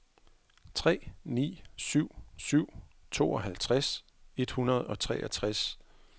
tre ni syv syv tooghalvtreds et hundrede og treogtres